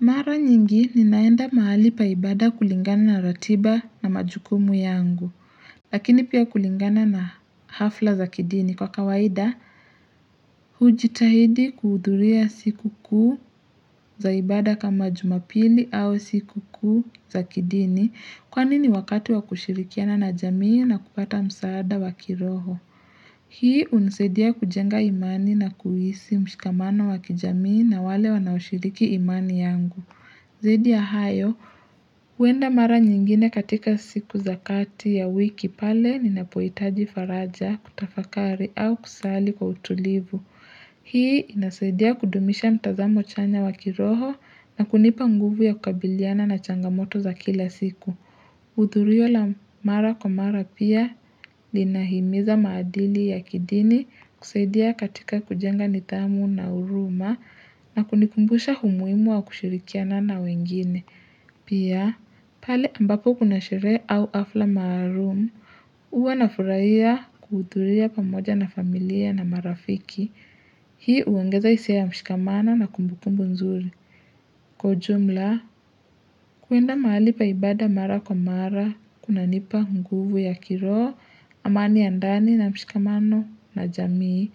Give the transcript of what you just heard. Mara nyingi ninaenda mahali paibada kulingana na ratiba na majukumu yangu Lakini pia kulingana na hafla za kidini kwa kawaida hujitahidi kuudhuria siku kuu zaibada kama jumapili au siku kuu za kidini Kwa nini wakati wa kushirikiana na jamii na kupata msaada wakiroho Hii unisadia kujenga imani na kuhisi mshikamano wa kijamii na wale wanashiriki imani yangu Zidi ya hayo, uenda mara nyingine katika siku zakati ya wiki pale ninapohtaji faraja, kutafakari au kusali kwa utulivu. Hii inasaidia kudumisha mtazamo chanya wakiroho na kunipa nguvu ya kukabiliana na changamoto za kila siku. Udhurio la mara kwa mara pia lina himiza maadili ya kidini kusaidia katika kujenga nidhamu na huruma na kunikumbusha umuhimu wa kushirikia nana wengine. Pia, pale ambapo kuna sherehe au fafla maalumu. Huwa nafurahia kuhudhuriwa pamoja na familia na marafiki. Hii uogeza hisia ya mshikamana na kumbukumbu nzuri. Kwa jumla, kuenda mahali paibada mara kwa mara, kuna nipa nguvu ya kiroho, amani ya ndani na mshikamano na jamii,